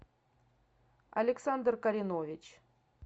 александр коренович